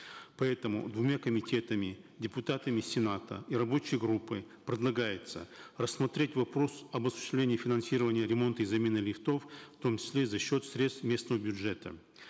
поэтому двумя комитетами депутатами сената и рабочей группой предлагается рассмотреть вопрос об осуществлении финансирования ремонта и замены лифтов в том числе за счет средств местного бюджета